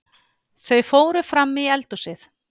Þau fóru frammí eldhúsið.